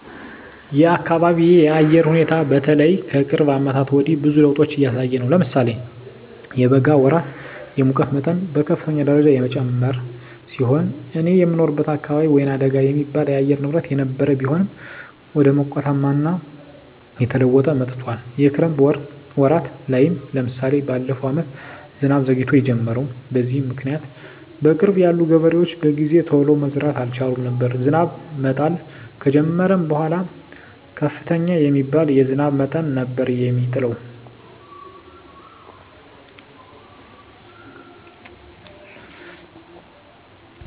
የአካቢየ የአየር ሁኔታ በተለይ ከቅርብ አመታት ወዲህ ብዙ ለዉጦች እያሳየ ነው። ለምሳሌ የበጋ ወራት የሙቀት መጠን በከፍተኛ ደረጃ የጨመረ ሲሆን እኔ የምኖርበት አካባቢ ወይናደጋ የሚባል የአየር ንብረት የነበረው ቢሆንም ወደ ሞቃታማነት እየተለወጠ መጥቶአል። የክረምት ወራት ላይም ለምሳሌ በለፈው አመት ዝናብ ዘግይቶ የጀመረው። በዚህም ምክኒያት በቅርብ ያሉ ገበሬዎች በጊዜ ቶሎ መዝራት አልቻሉም ነበር። ዝናብ መጣል ከጀመረም በኃላ ከፍተኛ የሚባል የዝናብ መጠን ነበር የሚጥለው።